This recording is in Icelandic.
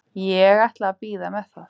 Ég ætla að bíða með það.